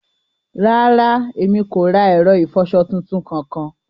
Ràrà, emi kò ra ẹrọ ifọṣọ̀ tuntun kankan.